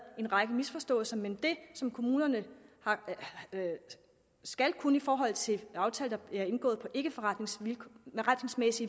en række misforståelser men det som kommunerne skal kunne i forhold til aftaler der bliver indgået på ikkeforretningsmæssige